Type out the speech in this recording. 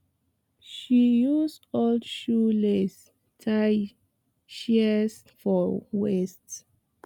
she use old shoe lace tie shears for waist